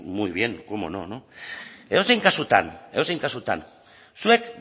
muy bien cómo no edozein kasutan edozein kasutan zuek